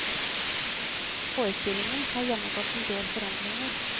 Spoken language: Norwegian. Forestillingen har gjennomgått en del forandringer.